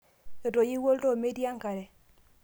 etoyiyo olndoo meetii enkare